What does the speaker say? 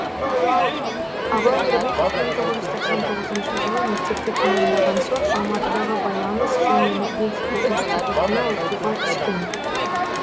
абай нұрбеков мың тоғыз жүз тоқсан тоғызыншы жылы мектепті тәмамдаған соң алматыдағы байланыс және энергетика институтына оқуға түскен